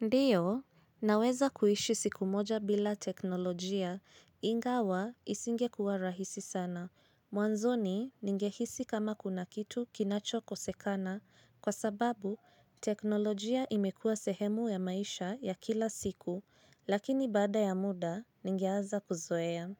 Ndiyo, naweza kuishi siku moja bila teknolojia ingawa isinge kuwa rahisi sana. Mwanzoni ningehisi kama kuna kitu kinacho kosekana kwa sababu teknolojia imekuwa sehemu ya maisha ya kila siku lakini baada ya muda ningeaza kuzoea.